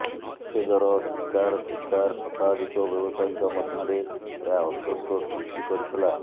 ଉଛେଦର ଶୀକାର ଶୀକାର ଶତାଧିକ ବ୍ୟବସାୟୀଙ୍କ ମଧ୍ୟରେ ଏହା ଅସନ୍ତୋଷ ସୃଷ୍ଟି କରିଥିଲା